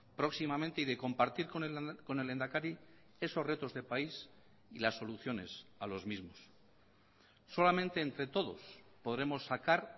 próximamente y de compartir con el lehendakari esos retos de país y las soluciones a los mismos solamente entre todos podremos sacar